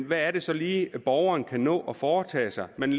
hvad det så lige er borgeren kan nå at foretage sig man